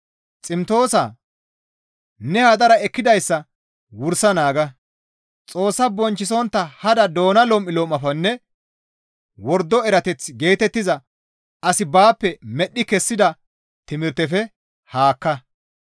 Ximtoosaa! Ne hadara ekkidayssa wursa naaga; Xoossaa bonchchisontta hada doona lom7ulom7afenne wordo erateth geetettiza asi baappe medhdhi kessida timirtefe haakka.